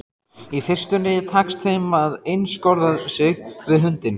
Í fyrstunni tekst þeim að einskorða sig við hundinn.